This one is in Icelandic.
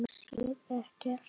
Sér ekkert.